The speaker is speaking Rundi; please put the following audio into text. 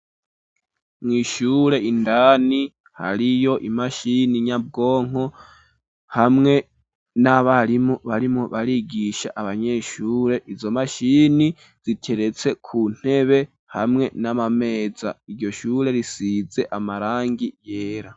Mw'ishure indani hariyo imashini nyabwonko hamwe n'abarimu barimwo barigisha abanyeshure, izo mashini zikeretse ku ntebe hamwe n'amameza, iryo shure risize amarangi yera.